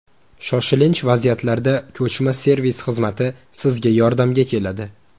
Shoshilinch vaziyatlarda ko‘chma servis xizmati sizga yordamga keladi.